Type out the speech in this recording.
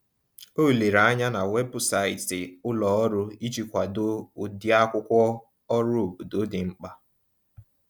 O lere anya na webụsaịtị ulọọrụ iji kwado ụdịakwụkwọ ọrụ obodo dị mkpa.